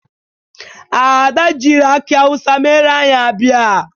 Ada jiịrị akị awụsa mere anyị abịa.